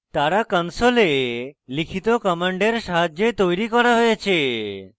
তারা console লিখিত commands সাহায্যে তৈরি করা হয়েছে